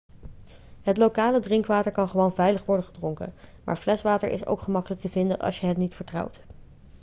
het lokale drinkwater kan gewoon veilig worden gedronken maar fleswater is ook gemakkelijk te vinden als je het niet vertrouwt